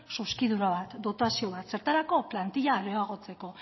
zuzkidura bat datazio bat zertarako plantila areagotzeko